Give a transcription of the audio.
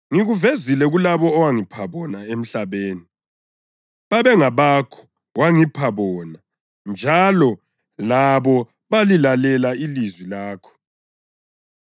“Ngikuvezile kulabo owangipha bona emhlabeni. Babengabakho; wangipha bona njalo labo balilalele ilizwi lakho.